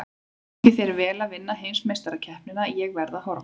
Gangi þér vel að vinna heimsmeistarakeppnina, ég verð að horfa.